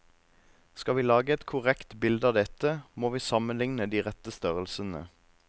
Skal vi lage et korrekt bilde av dette, må vi sammenligne de rette størrelsene.